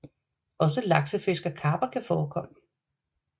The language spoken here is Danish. Også laksefisk og karper kan forekomme